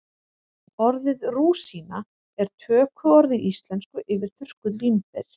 Orðið rúsína er tökuorð í íslensku yfir þurrkuð vínber.